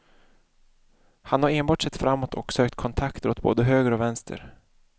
Han har enbart sett framåt och sökt kontakter åt både höger och vänster.